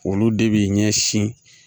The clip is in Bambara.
Olu de bi ɲɛsin